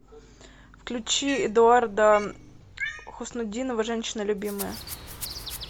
включи эдуарда хуснутдинова женщина любимая